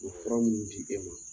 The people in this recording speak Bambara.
O ye fura minnu di e ma